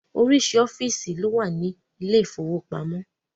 Oríṣiríṣi ọ́fíìsì ló wà ní ilé ìfowópamọ́.